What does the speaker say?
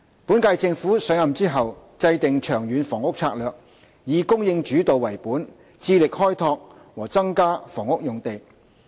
本屆政府上任後，制訂《長遠房屋策略》，以"供應主導"為本，致力開拓和增加房屋用地。